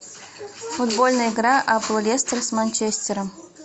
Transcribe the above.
футбольная игра апл лестер с манчестером